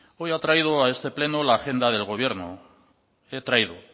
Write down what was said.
hoy he traído a este pleno